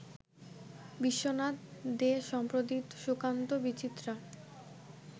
বিশ্বনাথ দে-সম্পাদিত সুকান্ত বিচিত্রা